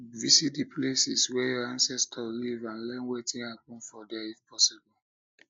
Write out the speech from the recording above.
visit the places wey your ancestors live and learn wetin happen for there if possible